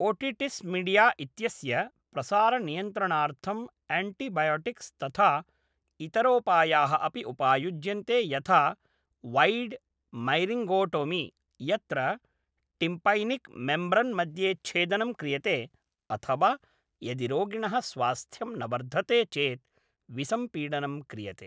Otitis media इत्यस्य प्रसारनियन्त्रणार्थम् antibiotics तथा इतरोपाया अपि उपायुज्यन्ते यथा वैड् मैरिङ्गोटोमि यत्र टिम्पैनिक् मेम्ब्रेन् मध्ये छेदनं क्रियते अथवा यदि रोगिणः स्वास्थ्यं न वर्धते चेत् विसंपीडनं क्रियते।